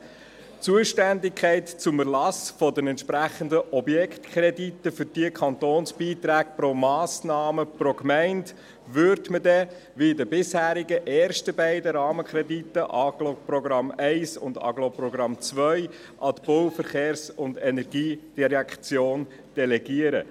Die Zuständigkeit für den Erlass der entsprechenden Objektkredite für diese Kantonsbeiträge pro Massnahme, pro Gemeinde würde man dann – wie bei den bisherigen ersten beiden Rahmenkrediten Agglo-Programm 1 und Agglo-Programm 2 – an die BVE delegieren.